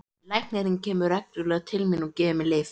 Læknirinn kemur reglulega til mín og gefur mér lyf.